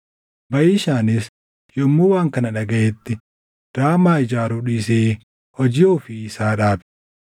Baʼishaanis yommuu waan kana dhagaʼetti Raamaa ijaaruu dhiisee hojii ofii isaa dhaabe.